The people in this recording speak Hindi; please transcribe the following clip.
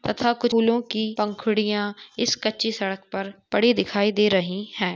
तथा कुछ फूलो की पंखुड़ियाँ इस कच्ची सड़क पर पड़ी दिखाई दे रहे है।